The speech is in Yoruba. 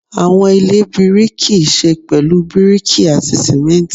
Awọn ile biriki ṣe pẹlu biriki ati simenti